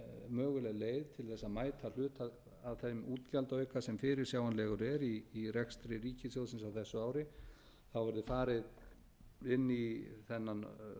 þess að mæta hluta af þeim útgjaldaauka sem fyrirsjáanlegur er í rekstri ríkissjóðsins á þessu ári verði farið inn í þennan